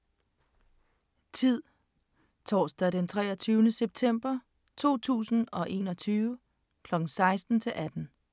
Tid: torsdag d. 23. september 2020. Kl 16-18